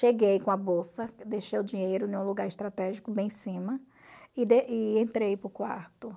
Cheguei com a bolsa, deixei o dinheiro em um lugar estratégico bem em cima, e e entrei para o quarto.